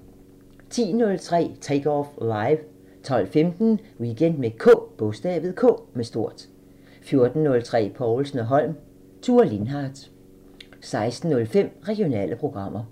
10:03: Take Off Live 12:15: Weekend med K 14:03: Povlsen & Holm: Thure Lindhart 16:05: Regionale programmer